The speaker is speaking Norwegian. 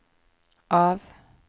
av